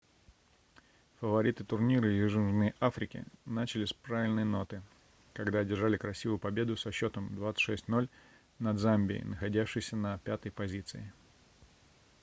фавориты турнира из южной африки начали с правильной ноты когда одержали красивую победу со счетом 26-00 над замбией находящейся на 5-ой позиции